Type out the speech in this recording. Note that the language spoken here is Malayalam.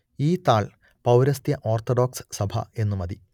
ഈ താൾ പൗരസ്ത്യ ഓർത്തഡോക്സ് സഭ എന്ന് മതി